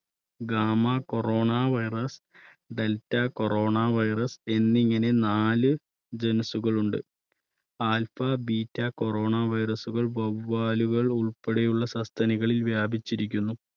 gama corona virus, delta corona virus എന്നിങ്ങനെ നാല് genes കൾ ഉണ്ട്. alpha, beta corona virus കൾ വവ്വാലുകൾ ഉൾപ്പെടെയുള്ള സസ്തനികളിൽ വ്യാപിച്ചിരിക്കുന്നു.